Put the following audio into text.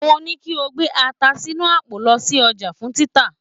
Mo ní kí o gbé ata sínú àpò lọ sí ọjà fún títà.